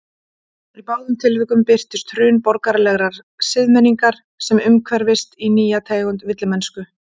Í báðum tilvikum birtist hrun borgaralegrar siðmenningar sem umhverfist í nýja tegund villimennsku.